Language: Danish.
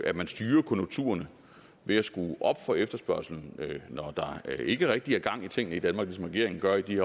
at man styrer konjunkturerne ved at skrue op for efterspørgslen når der ikke rigtig er gang i tingene i danmark ligesom regeringen gør i de